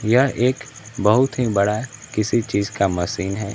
यह एक बहुत ही बड़ा किसी चीज का मशीन है।